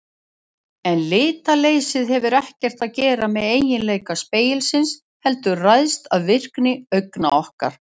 En litleysið hefur ekkert að gera með eiginleika spegilsins heldur ræðst af virkni augna okkar.